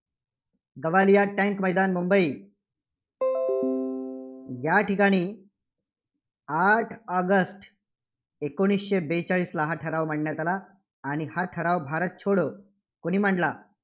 गवालिया टँक मैदान मुंबई या ठिकाणी आठ ऑगस्ट एकोणीसशे बेचाळीसला हा ठराव मांडण्यात आला आणि हा ठराव भारत छोडो कुणी मांडला?